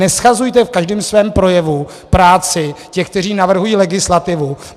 Neshazujte v každém svém projevu práci těch, kteří navrhují legislativu.